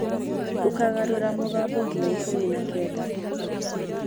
Ũkagarũra mũgambo nginya ikũmi na kenda